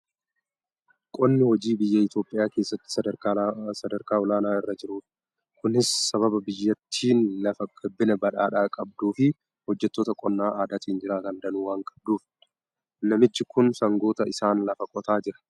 Qonni hojii biyya Itoophiyaa keessatti sadarkaa olaanaa irra jirudha. Kunis sababa biyyattiin lafa gabbinaan badhaadhaa qabduu fi hojjettoota qonna aadaatiin jiraatan danuu waan qabduufidha. Namichi kun sangoota isaan lafa qotaa jira.